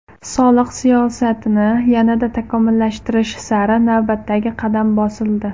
Soliq siyosatini yanada takomillashtirish sari navbatdagi qadam bosildi.